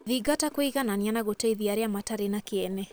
Thingata kũiganania na gũteithia arĩa matarĩ na kĩene.